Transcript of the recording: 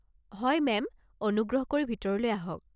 হয় মেম, অনুগ্ৰহ কৰি ভিতৰলৈ আহক।